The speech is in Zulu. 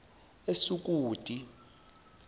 esukuti